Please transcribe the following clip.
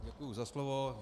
Děkuji za slovo.